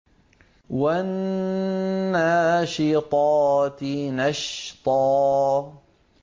وَالنَّاشِطَاتِ نَشْطًا